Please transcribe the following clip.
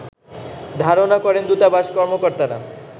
ধারনা করেন দূতাবাস কর্মকর্তারা